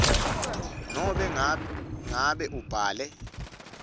nobe nangabe abhale